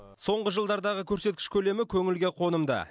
соңғы жылдардағы көрсеткіш көлемі көңілге қонымды